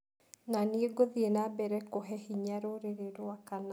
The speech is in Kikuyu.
Nanie ngũthie na mbere kũhe hinya rũrĩrĩ rwakwa na